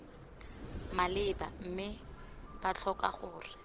maleba mme b tlhoka gore